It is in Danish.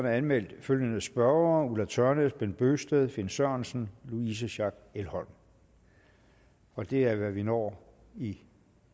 er anmeldt følgende spørgere ulla tørnæs bent bøgsted finn sørensen louise schack elholm det er hvad vi når i